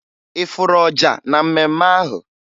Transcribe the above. Ị fụrụ ọja na mmemme ahụ?